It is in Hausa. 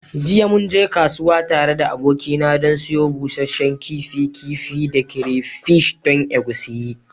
Jiya mun je kasuwa tare da abokina don siyo busasshen kifi, kifi kifi da crayfish don egusi.